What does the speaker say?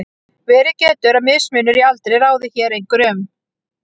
verið getur að mismunur í aldri ráði hér einhverju um